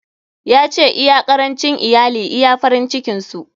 Ya ce, iya karancin iyali iya farin cikin su.